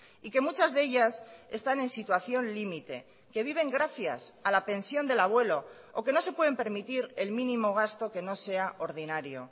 y que muchas de ellas están en situación límite que viven gracias a la pensión del abuelo o que no se pueden permitir el mínimo gasto que no sea ordinario